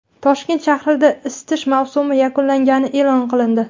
Toshkent shahrida isitish mavsumi yakunlangani e’lon qilindi.